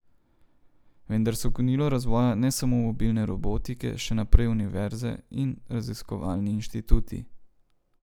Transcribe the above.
Vendar so gonilo razvoja, ne samo mobilne robotike, še naprej univerze in raziskovalni inštituti.